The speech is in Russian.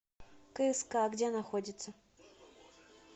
кск где находится